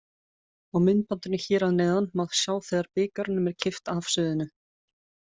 Á myndbandinu hér að neðan má sjá þegar bikarnum er kippt af sviðinu.